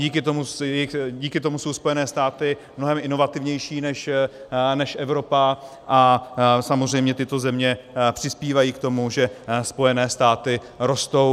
Díky tomu jsou Spojené státy mnohem inovativnější než Evropa a samozřejmě tyto firmy přispívají k tomu, že Spojené státy rostou...